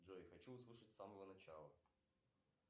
джой хочу услышать с самого начала